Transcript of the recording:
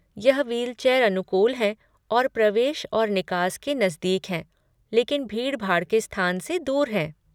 यह व्हीलचेयर अनुकूल हैं और प्रवेश और निकास के नजदीक हैं लेकिन भीड़ भाड़ के स्थान से दूर हैं।